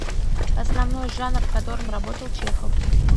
основной жанр в котором работал чехов